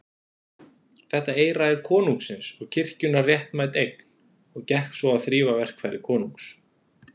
Þetta eyra er konungsins og kirkjunnar réttmætt eign, og gekk svo að þrífa verkfæri konungs.